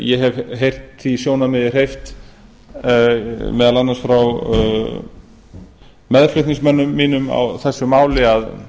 ég hef heyrt því sjónarmiði hef meðal annars frá meðflutningsmönnum mínum á þessu máli að